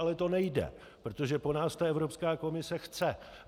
Ale to nejde, protože to po nás Evropská komise chce.